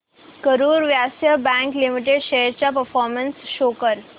Karur Vysya bank limited shares चा performance show कर